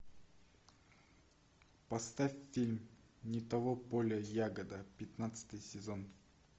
поставь фильм не того поля ягода пятнадцатый сезон